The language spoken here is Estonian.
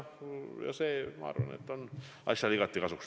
See, ma arvan, on asjale igati kasuks.